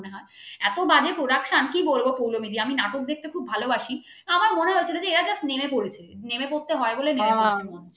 এত বাজে production যে কি বলবো পৌলোমী দি আমি নাটক দেখতে খুব ভালোবাসি আমার মনে হয়েছে এরা just নেমে পড়েছে নেমে পড়তে হয় বলে